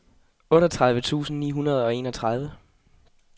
otteogtredive tusind ni hundrede og enogtredive